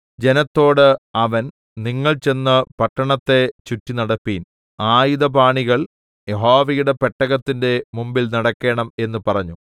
ജനത്തോട് അവൻ നിങ്ങൾ ചെന്ന് പട്ടണത്തെ ചുറ്റിനടപ്പിൻ ആയുധപാണികൾ യഹോവയുടെ പെട്ടകത്തിന്റെ മുമ്പിൽ നടക്കേണം എന്ന് പറഞ്ഞു